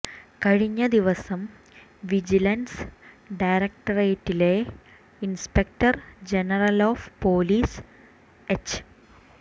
കഴിഞ്ഞ ദിവസം വിജിലൻസ് ഡയറക്ടറേറ്റിലെ inspector general of police H